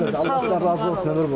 Allah sizdən razı olsun.